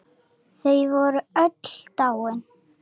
Þau voru öll dáin.